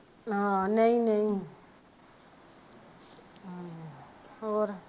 ਹਾਂ ਨਹੀਂ ਨਹੀਂ ਆਹੋ ਹੋਰ